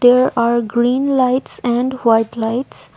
there are green lights and white lights.